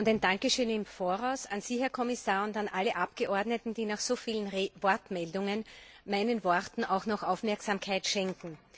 Ein Dankeschön im Voraus an Sie, Herr Kommissar, und an alle Abgeordneten, die nach so vielen Wortmeldungen meinen Worten auch noch Aufmerksamkeit schenken.